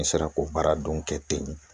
N sera k'o baara don kɛ ten